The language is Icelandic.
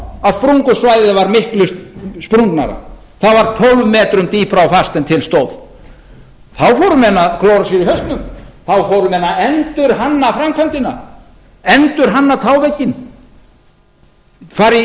að sprungusvæðið var miklu sprungnara það var tólf metrum dýpra á fast en til stóð þá fóru menn að klóra sér í hausnum þá fóru menn að endurhanna framkvæmdina endurhanna távegginn fara í miklar